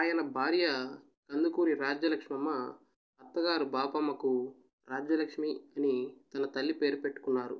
ఆయన భార్య కందుకూరి రాజ్యలక్ష్మమ్మ అత్తగారు బాపమ్మకు రాజ్యలక్ష్మి అని తన తల్లి పేరు పెట్టుకున్నారు